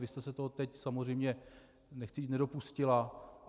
Vy jste se toho teď samozřejmě, nechci říct, nedopustila.